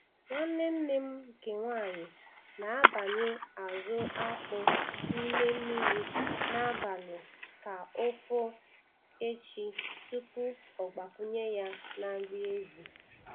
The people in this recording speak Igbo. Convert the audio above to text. Nwanne nne m nke nwaanyị na-abanye azụ akpụ n' ime mmiri n'abali ka o foo echi tupu ọ gbakwụnye ya na nri ezi.